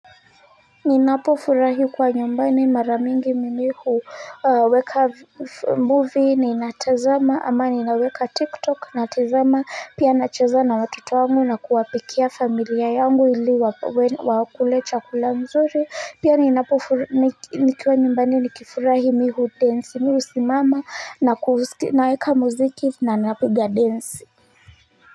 Ninapo furahi kwa nyumbani mara mingi mimi huweka movieni natazama ama ninaweka tiktok natazama pia nachezana watoto wangu na kuwapikia familia yangu ili wakule chakula nzuri pia ninapo nikiwa nyumbani ni kifurahi mi hudensi mihu simama na naweka muziki na napiga densi.